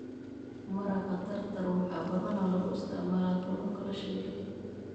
Maraqa Tartar waxaa badanaa lagu isticmaalaa kalluunka la shiilay.